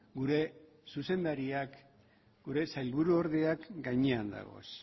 gure zuzendariak gure sailburuordeak gainean dagoz